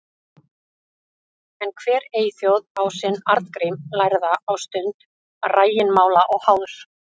En hver eyþjóð á sinn Arngrím lærða á stund rægimála og háðs.